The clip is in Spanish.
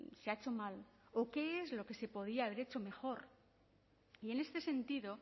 se ha hecho mal o qué es lo que se podía haber hecho mejor y en este sentido